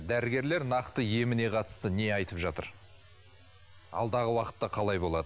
дәрігерлер нақты еміне қатысты не айтып жатыр алдағы уақытта қалай болады